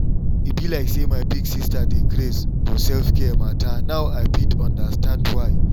e be like say my big sister dey craze for self-care matter now i fit understand why.